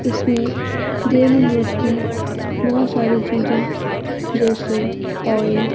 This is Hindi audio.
इसमें डेली यूज की बहोत सारी चीजे जैसे ऑइल --